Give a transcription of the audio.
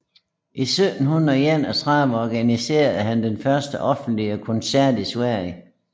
I 1731 organiserede han den første offentlige koncert i Sverige